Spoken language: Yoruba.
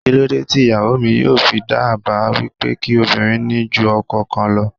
Kíló dé tí ìyàwó mi yóò fi dá àbá wípé kí obìnrin ní ju ọkọ kan lọ?